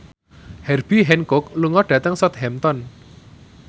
Herbie Hancock lunga dhateng Southampton